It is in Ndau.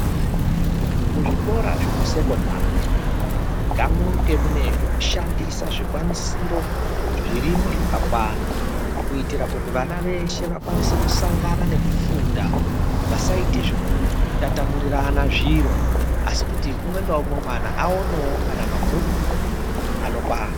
Muzvikora zvekusekondari ngamunge mune zvekushandisa zvikwanisiro zvirimo zvakakwana kuitira kuti vana veshe vakwanise kusangana nekufunda vasaite zvekutatamurirana zviro asi kuti umwe ngaumwe mwana aonewo kana mabhuku anokwana.